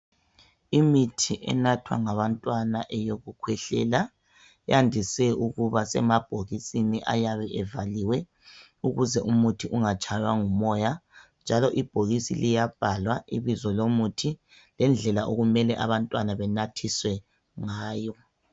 Imithi enathwa ngabantwana eyokukhwehlela iyandise ukuba semabhokisini ayabe evaliwe ukuze umuthi ungatshaywa ngumoya njalo ibhokisi liyabhalwa ibizo lomuthi lendlela okumele abantwana benathiswe ngawo.